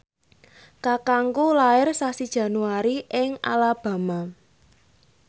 kakangku lair sasi Januari ing Alabama